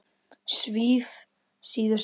Svíf síðust út.